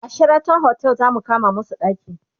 a Sheraton otel zamu kama masu ɗaki